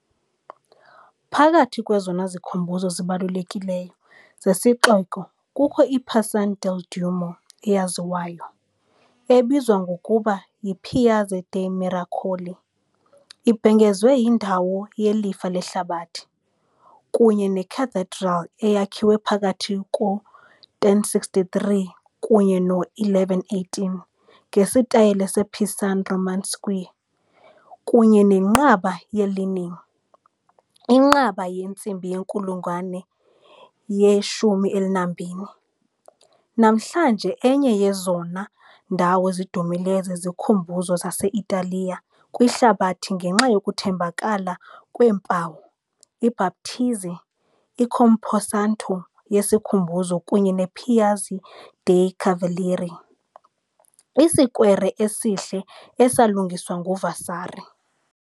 Phakathi kwezona zikhumbuzo zibalulekileyo zesixeko kukho i -Pisan del Duomo eyaziwayo, ebizwa ngokuba yi-Piazza dei Miracoli, ibhengezwe indawo yelifa lehlabathi, kunye neCathedral eyakhiwe phakathi kwe -1063 kunye ne-1118 ngesitayile sePisan Romanesque kunye neNqaba ye-Leaning, inqaba yentsimbi yenkulungwane ye-12, namhlanje enye yezona ndawo zidumileyo zezikhumbuzo zase-Italiya kwihlabathi ngenxa yokuthambekela kweempawu, iBhaptizi, i- Camposanto yesikhumbuzo kunye ne -Piazza dei Cavalieri, isikwere esihle esalungiswa nguVasari.